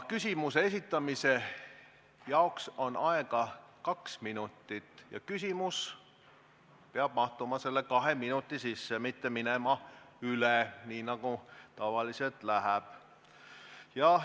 Küsimuse esitamise jaoks on aega kaks minutit ja küsimus peab mahtuma selle kahe minuti sisse, mitte minema üle, nii nagu tavaliselt läheb.